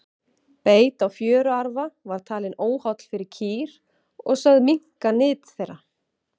beit á fjöruarfa var talinn óholl fyrir kýr og sögð minnka nyt þeirra